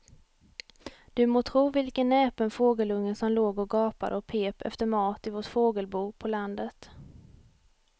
Du må tro vilken näpen fågelunge som låg och gapade och pep efter mat i vårt fågelbo på landet.